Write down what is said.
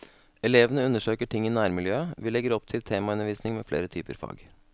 Elevene undersøker ting i nærmiljøet, vi legger opp til temaundervisning med flere typer fag.